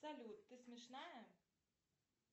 салют ты смешная